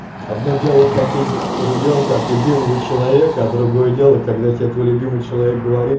одно дело хотеть ребёнка от любимого человека а другое дело когда тебе твой любимый человек говорит